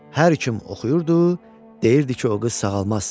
Hər kim oxuyurdu, deyirdi ki, o qız sağalmaz.